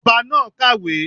Ọba náà kàwé